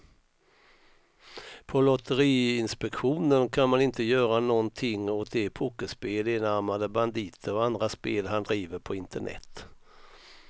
På lotteriinspektionen kan man inte göra någonting åt de pokerspel, enarmade banditer och andra spel han driver på internet.